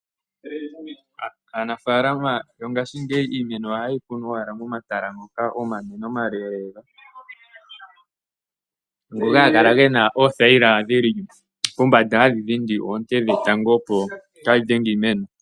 Aanafaalama yongashingeyi iimeno oha ye yi kunu owala momatala ngoka omanene omale, ngoka ha ga kala ge na oothaila dhi li pombanda hadhi keelele oonte dhetango opo kaa dhi dhenge iimeno.